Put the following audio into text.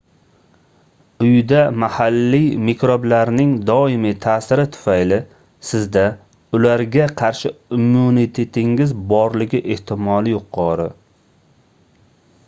uyda mahalliy mikroblarning doimiy taʼsiri tufayli sizda ularga qarshi immunitetingiz borligi ehtimoli yuqori